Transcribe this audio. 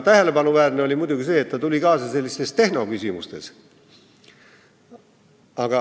Tähelepanuväärne on muidugi see, et ta tuli kaasa sellistes tehnoküsimustes.